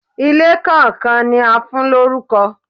Ilé kàn kan ni a fún lórúkọ.